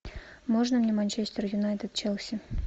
можно мне манчестер юнайтед челси